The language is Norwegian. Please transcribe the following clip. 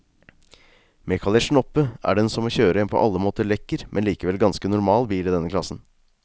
Med kalesjen oppe er den som å kjøre en på alle måter lekker, men likevel ganske normal bil i denne klassen.